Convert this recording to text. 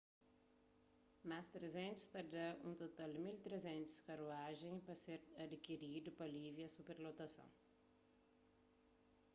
más 300 ta dá un total di 1.300 karuajen pa ser adikiridu pa alivia superlotason